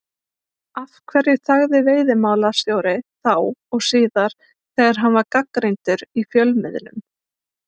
Af hverju þagði veiðimálastjóri, þá og síðar, þegar hann var gagnrýndur í fjölmiðlum?